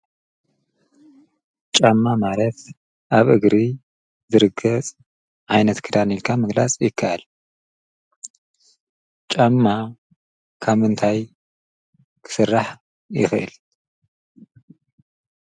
ጫማ ማለት አብ እግሪ ዝርገፀ ዓይነት ክዳን ኢልካ ምግላፀ ይክአል። ጫማ ካብ ምንታይ ክስራሕ ይክእል?